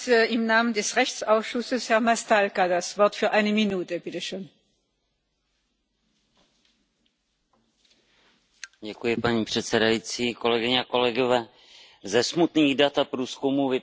Paní předsedající, ze smutných dat a průzkumů vyplývá, že za svého dospělého života se setká s projevy fyzického nebo sexuálního násilí v Evropě každá třetí žena.